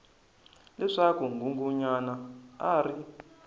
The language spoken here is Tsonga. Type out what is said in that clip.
leswaku nghunghunyana a a ri